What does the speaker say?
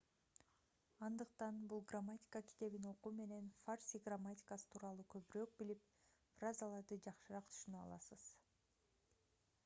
андыктан бул грамматика китебин окуу менен фарси грамматикасы тууралуу көбүрөөк билип фразаларды жакшыраак түшүнө аласыз